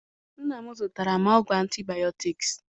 Nna m zụtara m ọgwụ antibiotics.